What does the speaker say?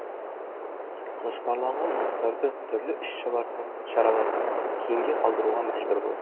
жоспарланған жұмыстарды түрлі іс шараларды кейінге қалдыруға мәжбүр болдық